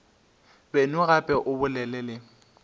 beno gape o bolele le